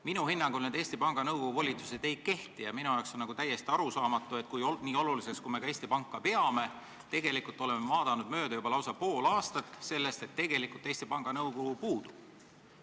Minu hinnangul Eesti Panga Nõukogu volitused ei kehti ja minu jaoks on täiesti arusaamatu, et kuigi me peame Eesti Panka väga oluliseks, me oleme tegelikult juba lausa pool aastat mööda vaadanud sellest, et tegelikult Eesti Panga Nõukogu puudub.